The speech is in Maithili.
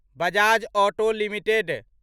Bajaj Auto limited